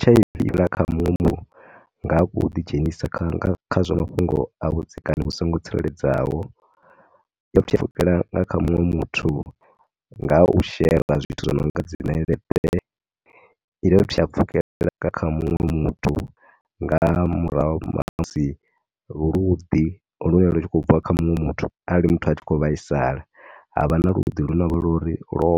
H_I_V i nga ya kha muṅwe muthu nga u ḓidzhenisa kha, kha zwa mafhungo a vhudzekani vhu songo tsireledzeaho. I dovha futhi ya pfhukela kha muṅwe muthu nga u shera zwithu zwi no nga dzi ṋeleṱe. I dovha fhuthi ya pfhukhela kha muṅwe muthu nga murahu ha musi luḓi lune lu tshi khou bva kha muṅwe muthu, arali muthu a tshi khou vhaisala, ha vha na luḓi lune lo,